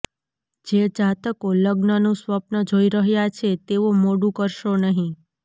જે જાતકો લગ્નનું સ્વપ્ન જોઈ રહ્યા છે તેઓ મોડું કરશો નહિં